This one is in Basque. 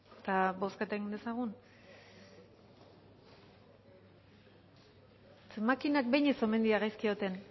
eta bozketa egin dezagun zeren makinak behin ez omen dira gaizki egoten